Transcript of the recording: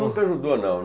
Nunca ajudou, não.